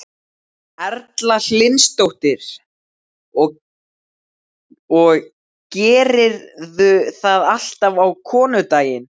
Erla Hlynsdóttir: Og gerirðu það alltaf á konudaginn?